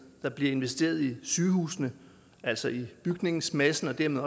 der bliver investeret i sygehusene altså i bygningsmassen og dermed